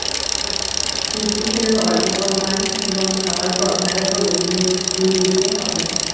মিষ্টি খেলেও অল্প পরিমাণ এবং খাবার পর ভালো করে মুখ ধুয়ে নিতে হবে